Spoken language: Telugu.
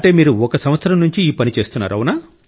అంటే మీరు ఒక సంవత్సరం నుండి ఈ పని చేస్తున్నారు